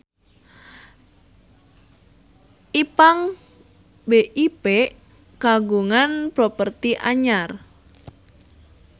Ipank BIP kagungan properti anyar